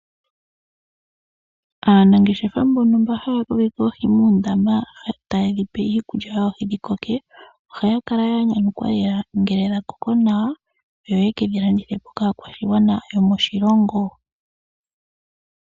Aanangeshefa mbono haya kokeke oohi moondama, taye dhipe iikulya yoohi opo dhikoke, ohaya kala ya nyanyukwa lela ngele dhakoko nawa, yo yekedhi landithepo kaakwashigwana yomoshilongo.